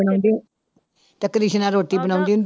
ਬਣਾਉਂਦੀ, ਤੇ ਕ੍ਰਿਸ਼ਨਾ ਰੋਟੀ ਬਣਾਉਂਦੀ ਹੁੰਦੀ